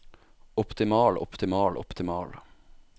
optimal optimal optimal